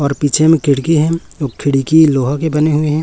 और पीछे में खिड़की है और खिड़की लोहा के बने हुए हैं।